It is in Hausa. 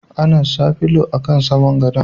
Ana sa filo a kan saman godo.